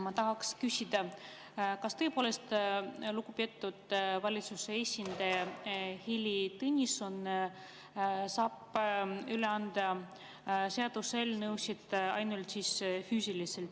Ma tahaks küsida, kas tõepoolest lugupeetud valitsuse esindaja Heili Tõnisson saab üle anda seaduseelnõusid ainult füüsiliselt.